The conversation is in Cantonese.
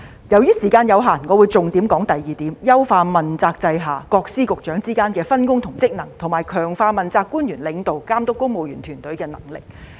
由於時間有限，我會重點談談議案的第二點："優化問責制下各司局之間的分工及職能，並強化政治問責官員領導及監督公務員團隊的能力"。